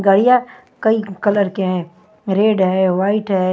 गाड़िया कई कलर केहैं रेड है वाइट है।